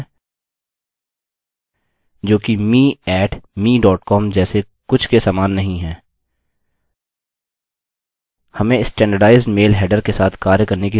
अतः यहाँ हम headers वेरिएबल बनाते हैं जो कि me @mecom जैसे कुछ के समान नहीं है